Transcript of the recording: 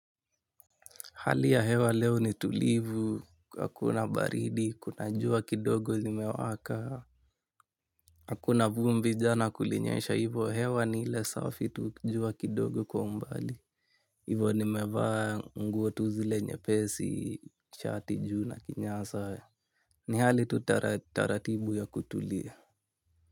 Hali ya hewa leo ni tulivu, hakuna baridi, kuna jua kidogo zimewaka, hakuna vumbi, jana kulinyesha hivo hewa ni ile safi tu jua kidogo kwa umbali hivo nimevaa nguo tu zile nyepesi, shati juu na kinyasa ni hali tu taratibu ya kutulia.